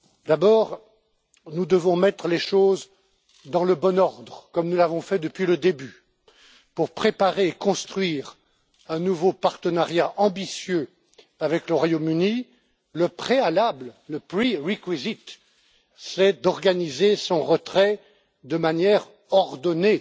D'abord, nous devons mettre les choses dans le bon ordre, comme nous l'avons fait depuis le début, pour préparer et construire un nouveau partenariat ambitieux avec le Royaume-Uni la condition préalable le prerequisite c'est d'organiser son retrait de manière ordonnée